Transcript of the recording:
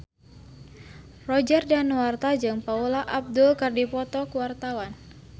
Roger Danuarta jeung Paula Abdul keur dipoto ku wartawan